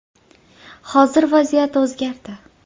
Hozir vaziyat o‘zgardi.